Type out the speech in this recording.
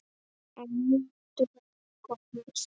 Á níundu holu kom neisti.